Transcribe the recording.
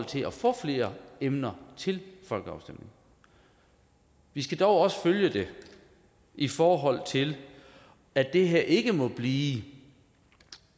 til at få flere emner til folkeafstemning vi skal dog også følge det i forhold til at det her ikke må blive